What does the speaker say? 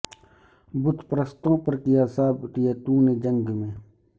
بت پرستوں پر کیا ثابت یہ تو نے جنگ میں